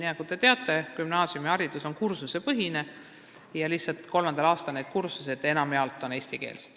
Nagu te teate, gümnaasiumiharidus on kursusepõhine ja kolmandal aastal on need kursused enamjaolt lihtsalt eestikeelsed.